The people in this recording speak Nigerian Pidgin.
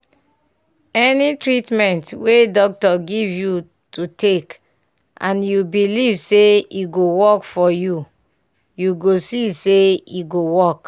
any treatment wey doctor give you to take and you belive say e go work for you you go see say e go work.